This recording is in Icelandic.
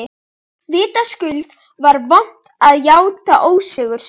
Vitaskuld var vont að játa ósigur sinn.